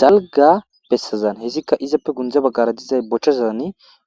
dalga bessazan hesikka izappe gunde baggara dizay bochcha zazan